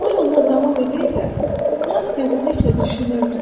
O yoluna davam edə-edə saf qəribəliklə düşünürdü: